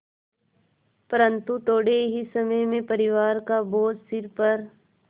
परन्तु थोडे़ ही समय में परिवार का बोझ सिर पर